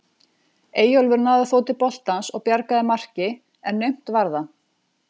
Eyjólfur náði þó til boltans og bjargaði marki en naumt var það.